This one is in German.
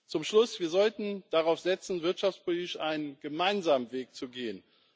Zum Schluss Wir sollten darauf setzen, wirtschaftspolitisch einen gemeinsamen Weg zu gehen.